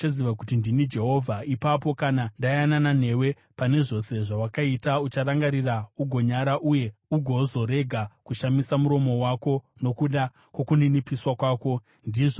Ipapo, kana ndayanana newe pane zvose zvawakaita, ucharangarira ugonyara uye ugozorega kushamisa muromo wako nokuda kwokuninipiswa kwako, ndizvo zvinotaura Ishe Jehovha.’ ”